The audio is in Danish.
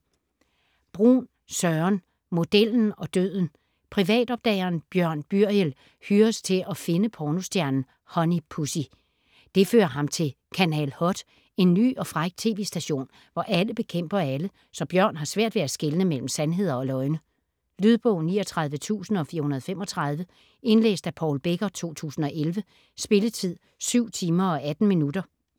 Bruun, Søren: Modellen og døden Privatopdageren Bjørn Byriel hyres til at finde pornostjernen Honey Pussy. Det fører ham til Kanal Hot - en ny og fræk tv-station, hvor alle bekæmper alle, så Bjørn har svært ved at skelne mellem sandheder og løgne. Lydbog 39435 Indlæst af Paul Becker, 2011. Spilletid: 7 timer, 18 minutter.